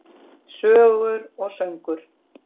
Sögur og söngur.